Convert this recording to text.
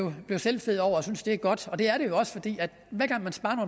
blive selvfed over og synes at det er godt det er det jo også fordi hver gang man sparer